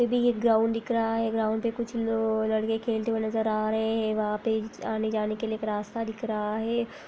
एक ग्राउंड दिख रहा है ग्राउंड पे कुछ लो लड़के खेलते नजर आ रहे हैं वहाॅं पे आने-जाने के लिये एक रास्ता दिख रहा है।